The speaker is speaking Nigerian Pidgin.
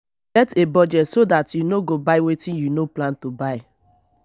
get budget so dat you no go buy wetin you no plan to buy